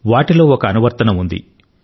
వాటిలో ఒక అనువర్తనం ఉంది